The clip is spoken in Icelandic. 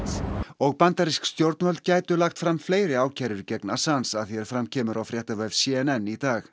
og bandarísk stjórnvöld gætu lagt fram fleiri ákærur gegn Assange að því er fram kemur á fréttavef c n n í dag